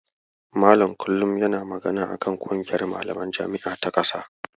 Malam kullum yana magana a kan ƙungiyar malaman jami'a ta ƙasa.